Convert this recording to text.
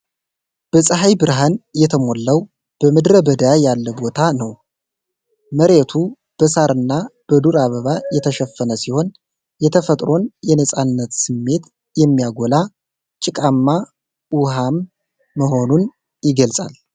በፀሐይ ብርሃን የተሞላው በምድረ በዳ ያለ ቦታ ነው ። መሬቱ በሣርና በዱር አበባ የተሸፈነ ሲሆን፣ የተፈጥሮን የነፃነት ስሜት የሚያጎላ ጭቃማ ውሃም መሆኑን ይገልጻል፡፡